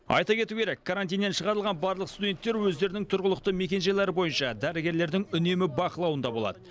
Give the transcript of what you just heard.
айта кету керек карантиннен шығарылған барлық студенттер өздерінің тұрғылықты мекенжайлары бойынша дәрігерлердің үнемі бақылауында болады